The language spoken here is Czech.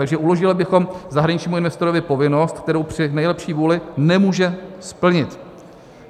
Takže uložili bychom zahraničnímu investorovi povinnost, kterou při nejlepší vůli nemůže splnit.